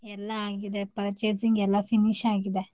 ಎಲ್ಲ ಆಗಿದೆ purchasing ಎಲ್ಲ finish ಆಗಿದೆ.